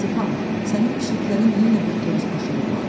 "Stepan, sənin pişiklərin yenə bir xoruz aşırdıblar.